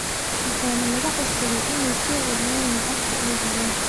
Waxaana laga codsaday inay soo celiyaan lacagtii ay heleen.